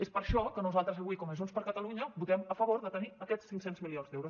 és per això que nosaltres avui com a junts per catalunya votem a favor de tenir aquests cinc cents milions d’euros